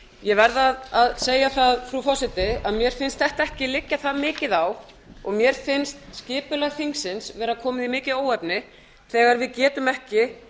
ég verð að segja það frú forseti að mér finnst þessu ekki liggja það mikið á og mér finnst skipulag þingsins vera komið í mikið óefni þegar við getum ekki